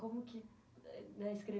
Como que